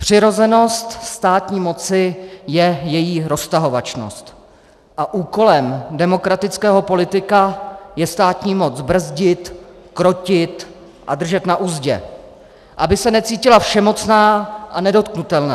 Přirozenost státní moci je její roztahovačnost a úkolem demokratického politika je státní moc brzdit, krotit a držet na uzdě, aby se necítila všemocná a nedotknutelná.